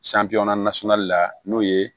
la n'o ye